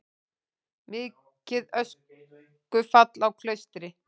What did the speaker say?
Mikið öskufall á Klaustri